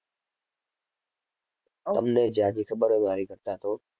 તમને ઝાઝી ખબર હોય મારી કરતાં તો.